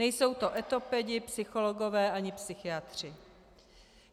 Nejsou to etopedi, psychologové ani psychiatři.